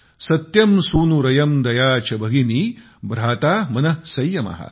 सत्यं सुनूरयं दया च भगिनी भ्राता मनः संयमः